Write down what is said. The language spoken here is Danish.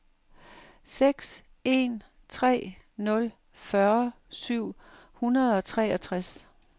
seks en tre nul fyrre syv hundrede og treogtres